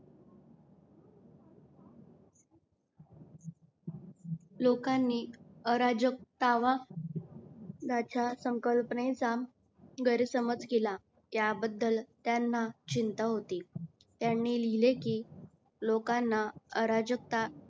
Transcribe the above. लोकांनी अराजकता व लाचार संकल्पनेचा गैरसमज केला याबद्दल त्यांना चिंता होती. त्यांनी लिहले कि लोकांना अराजकता